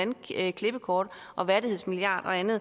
andet klippekortet og værdighedsmilliarden og andet